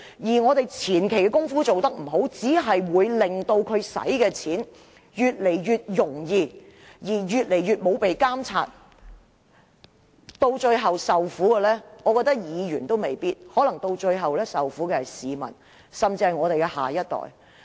如果議員的前期工夫做得不好，只會令公帑的運用越趨不受監察，最後受苦的未必是議員，可能是市民，甚至是我們的下一代。